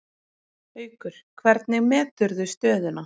Haukur: Hvernig meturðu stöðuna?